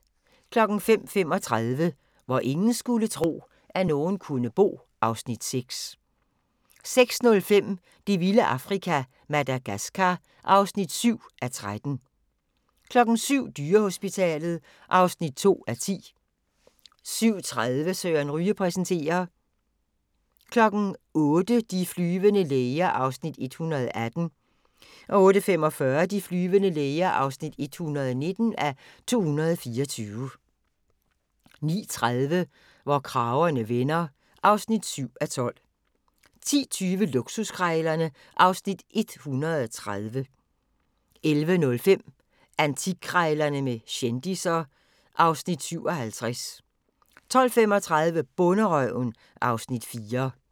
05:35: Hvor ingen skulle tro, at nogen kunne bo (Afs. 6) 06:05: Det vilde Afrika - Madagaskar (7:13) 07:00: Dyrehospitalet (2:10) 07:30: Søren Ryge præsenterer 08:00: De flyvende læger (118:224) 08:45: De flyvende læger (119:224) 09:30: Hvor kragerne vender (7:12) 10:20: Luksuskrejlerne (Afs. 130) 11:05: Antikkrejlerne med kendisser (Afs. 57) 12:35: Bonderøven (Afs. 4)